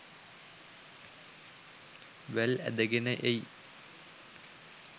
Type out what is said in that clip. වැල් ඇදගෙන එයි.